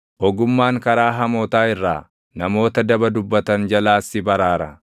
Ogummaan karaa hamootaa irraa, namoota daba dubbatan jalaas si baraara;